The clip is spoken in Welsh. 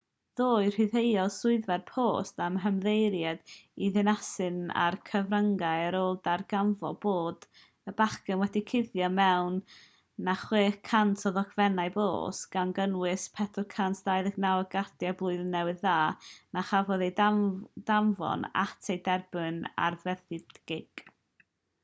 ddoe rhyddhaodd swyddfa'r post eu hymddiheuriad i ddinasyddion a'r cyfryngau ar ôl darganfod bod y bachgen wedi cuddio mwy na 600 o ddogfennau post gan gynnwys 429 o gardiau post blwyddyn newydd na chafodd eu danfon at eu derbynwyr arfaethedig